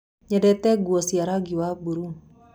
Nyendete nguo cia rangi wa buru.